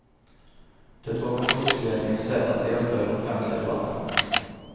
Det var kontorsledningens sätt att delta i den offentliga debatten.